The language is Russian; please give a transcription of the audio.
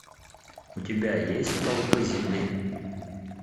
у тебя есть столпы земли